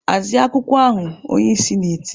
"Hazie akwụkwọ ahụ!" Onyeisi na-eti.